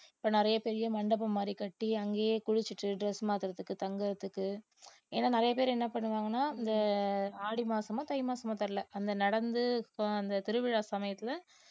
இப்போ நிறைய பெரிய மண்டபம் மாதிரி கட்டி அங்கேயே குளிச்சிட்டு dress மாத்துறதுக்கு தங்குறதுக்கு ஏன்னா நிறைய பேர் என்ன பண்ணுவாங்கன்னா இந்த ஆடி மாசமோ தை மாசமோ தெரியலே அந்த நடந்து ப~ அந்த திருவிழா சமயத்துல